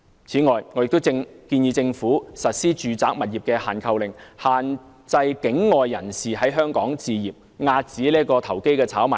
此外，我亦建議政府實施住宅物業"限購令"，限制境外人士在本港置業，遏止投機炒賣。